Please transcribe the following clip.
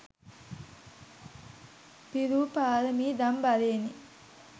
පිරූ පාරමීදම් බලයෙනි